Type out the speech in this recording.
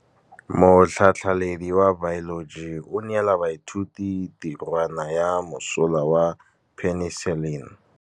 Motlhatlhaledi wa baeloji o neela baithuti tirwana ya mosola wa peniselene.